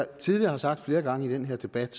tidligere har sagt flere gange i den her debat